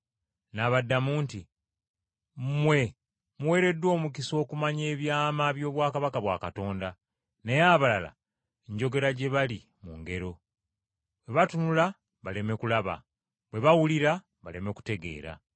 N’abaddamu nti, “Mmwe muweereddwa omukisa okumanya ebyama by’obwakabaka bwa Katonda, naye abalala, njogera gye bali mu ngero, “ ‘bwe batunula baleme kulaba, bwe bawulira baleme kutegeera.’